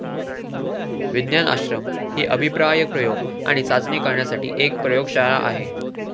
विज्ञान आश्रम ही अभिप्राय प्रयोग आणि चाचणी करण्यासाठी एक प्रयोगशाळा आहे.